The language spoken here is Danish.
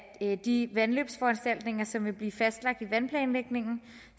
de vandløbsforanstaltninger som vil blive fastlagt i vandplanlægningen